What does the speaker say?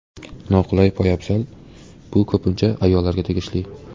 Noqulay poyabzal Bu ko‘pincha ayollarga tegishli.